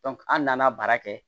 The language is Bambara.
an nana baara kɛ